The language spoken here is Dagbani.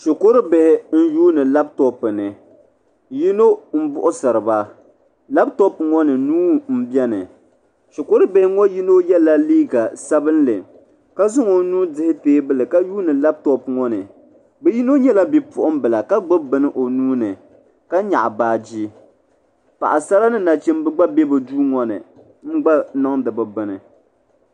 Shukuru bihi n lihiri laaputopu ni yino m buɣisiri ba laaputopu ŋɔ ni nuu m biɛni shukuru bihi ŋɔ yiŋga yela liiga sabinli ka zaŋ o nuu dihi teebuli ka yuuni laaputopu ŋɔ ni bɛ yino nyɛla bipuɣimbila ka gbibi bini o nuu ni ka nyaɣi baagi paɣasara ni nachimba gba be bɛ duu ŋɔ ni n gba niŋdi bɛ bini.